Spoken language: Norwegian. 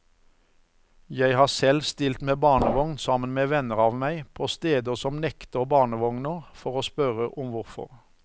Jeg har selv stilt med barnevogn sammen med venner av meg, på steder som nekter barnevogner, for å spørre om hvorfor.